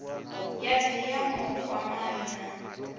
ya dti ya vhukwamani na